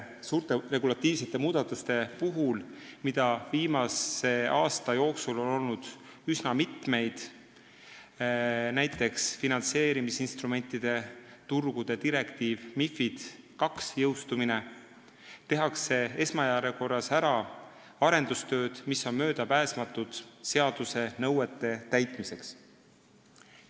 Suurte regulatiivsete muudatuste puhul, mida viimase aasta jooksul on üsna mitu olnud jõustumine), tehakse esmajärjekorras ära arendustööd, mis on seaduse nõuete täitmiseks möödapääsmatud.